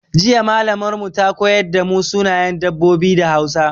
Jiya Mallamar mu ta koyar da mu sunayen dabbobi da Hausa.